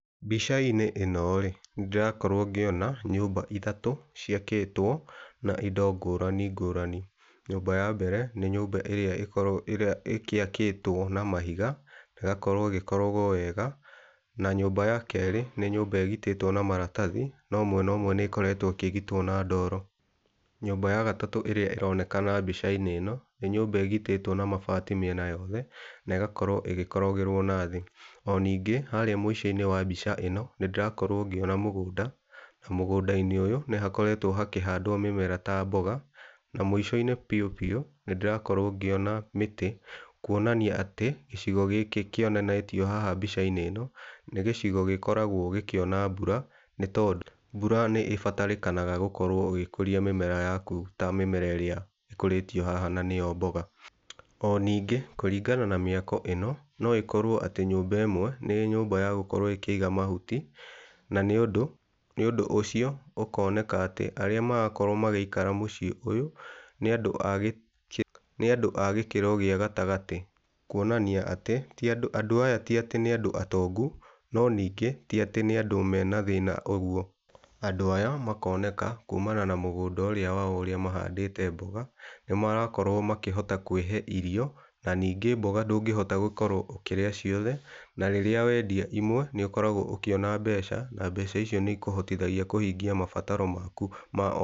Mbica-inĩ ĩno rĩ, nĩ ndĩrakorwo ngĩona nyũmba ithatũ ciakĩtwo na indo ngũrani ngũrani. Nyũmba ya mbere nĩ ĩrĩa ĩgĩakĩtwo na mahiga na ĩgakorwo ĩgĩkorogwo wega na nyũmba ya kerĩ nĩ nyũmba ĩgitĩtwo na maratathi no mwena ũmwe nĩ ĩkoretwo ĩkĩgitwo na ndoro. Nyũmba ya gatatũ ĩrĩa ĩronekana mbica-inĩ ĩno nĩ nyũmba ĩgitĩtwo na mabati mĩena yothe na ĩgakorwo ĩgĩkorogerwo na thĩ. O ningĩ harĩa mũico-inĩ wa mbica ĩno nĩ ndĩrakorwo ngĩona mũgũnda, na mũgũnda-inĩ ũyũ nĩ hakoretwo hakĩhandwo mĩmera ta mboga. Na mũico-inĩ biu biu nĩ ndĩrakorwo ngĩona mĩtĩ, kuonania atĩ gĩcigo gĩkĩ kĩonanitio haha nĩ gĩcigo gĩkoragwo gĩkĩona mbura. Nĩ tondũ mbura nĩ ĩbatarĩkanaga gũkorwo ũgĩkũria mĩmera yaku, ta mĩmera ĩrĩa ĩkũrĩtio haha na nĩyo mboga. O ningĩ, kũringana na mĩako ĩno no ĩkorwo atĩ nyũmba ĩmwe nĩ nyũmba ya gũkorwo ĩkĩiga mahuti. Na nĩ ũndũ wa ũndũ ũcio ũkoneka atĩ arĩa marakorwo magĩikara mũciĩ-inĩ ũyũ nĩ andũ a gĩkĩro gĩa gatagatĩ. Kuonania atĩ andũ aya ti atĩ nĩ andũ atongo, no ningĩ ti atĩ nĩ andũ mena thĩna ũguo. Andũ aya makoneka kuumana na mũgũnda ũrĩa wao ũrĩa mahandĩte mboga, nĩ marakorwo makĩhota kwĩhe irio na ningĩ mboga ndũngĩhota gũkorwo ũkĩrĩa ciothe. Na rĩrĩa wendia imwe nĩ ũkoragwo ũkĩona mbeca, na mbeca icio nĩ ikũhotithagia kũhingia mabataro maku ma o...